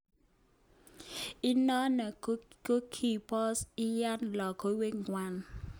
Inonon kikobos kiyan lokowek ngwak.